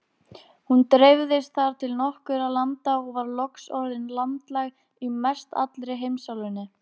Hún dreifðist þar til nokkurra landa og var loks orðin landlæg í mestallri heimsálfunni.